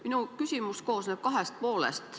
Minu küsimus koosneb kahest poolest.